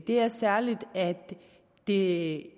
er særligt at det